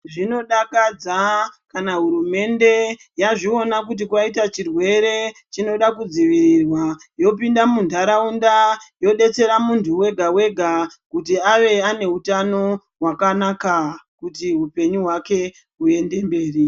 Zvinodakadza kana hurumende yazviona kuti kwaita chirwere chinodabkudzivirirwa yopinda munharaunda yodetsera munthu wega wega kuti ave ane utano hwakanaka kuti upenyu hwake huende mberi.